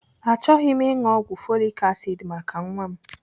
Achọghị m ịṅụ ọgwụ folik asid maka nwa m.